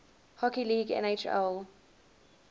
hockey league nhl